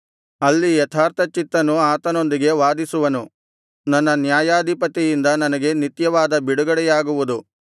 ಅಲ್ಲಿ ಯಥಾರ್ಥಚಿತ್ತನು ಆತನೊಂದಿಗೆ ವಾದಿಸುವನು ನನ್ನ ನ್ಯಾಯಾಧಿಪತಿಯಿಂದ ನನಗೆ ನಿತ್ಯವಾದ ಬಿಡುಗಡೆಯಾಗುವುದು